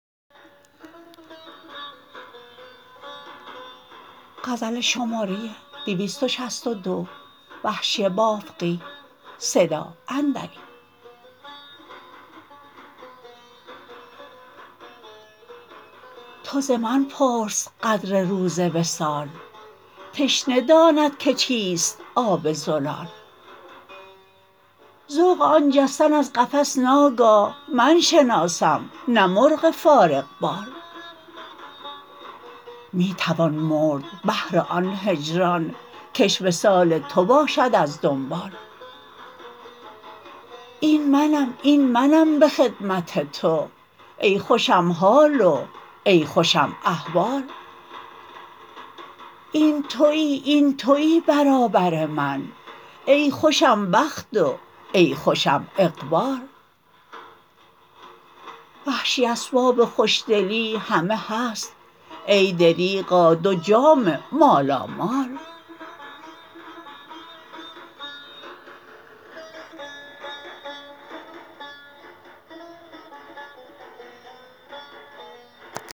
تو زمن پرس قدر روز وصال تشنه داند که چیست آب زلال ذوق آن جستن از قفس ناگاه من شناسم نه مرغ فارغ بال می توان مرد بهر آن هجران کش وصال تو باشد از دنبال این منم این منم به خدمت تو ای خوشم حال و ای خوشم احوال این تویی این تویی برابر من ای خوشم بخت و ای خوشم اقبال وحشی اسباب خوشدلی همه هست ای دریغا دو جام مالامال